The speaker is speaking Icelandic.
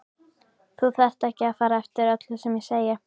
Þú þarft ekki að fara eftir öllu sem ég segi